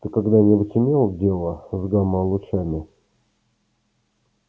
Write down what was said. ты когда-нибудь имел дело с гамма-лучами